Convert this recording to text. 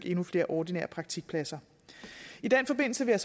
endnu flere ordinære praktikpladser i den forbindelse vil